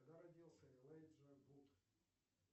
когда родился элайджа вуд